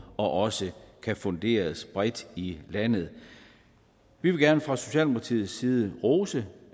og også kan funderes bredt i landet vi vil gerne fra socialdemokratiets side rose